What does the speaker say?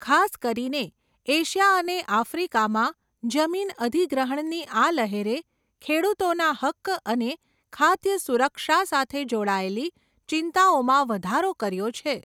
ખાસ કરીને, એશિયા અને આફ્રિકામાં, જમીન અધિગ્રહણની આ લહેરે, ખેડૂતોના હક્ક અને ખાદ્ય સુરક્ષા સાથે જોડાયેલી, ચિંતાઓમાં વધારો કર્યો છે.